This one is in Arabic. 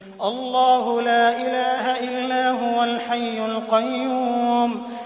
اللَّهُ لَا إِلَٰهَ إِلَّا هُوَ الْحَيُّ الْقَيُّومُ